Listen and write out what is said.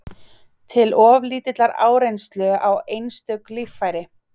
til of lítillar áreynslu á einstök líffæri.